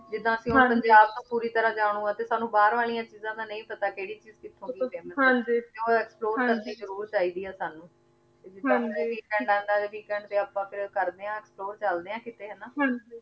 ਹਾਂਜੀ ਜਿਦਾਂ ਅਸੀਂ ਹੁਣ ਪੰਜਾਬ ਨੂ ਪੋਰੀ ਤਰਹ ਜਨੁ ਆਂ ਤੇ ਸਾਨੂ ਬਾਹਰ ਵਾਲਿਯਾਂ ਚੀਜ਼ਾਂ ਦਾ ਨਾਈ ਪਤਾ ਕੇਰੀ ਚੀਜ਼ ਕਿਥੋਂ ਦੀ ਆ ਹਾਂਜੀ ਹਾਂਜੀ ਤੇ ਊ explore ਕਰ੍ਨਿ ਜ਼ਰੁਰ ਚੀ ਦੀ ਆ ਸਾਨੂ ਹਾਂਜੀ ਹਾਂਜੀ ਆਪਾਂ ਕੀ ਫੇਰ ਕਰਦੇ ਆਂ explore ਚਲਦੇ ਆਂ ਕਿਥੇ ਹਾਨਾ ਹਾਂਜੀ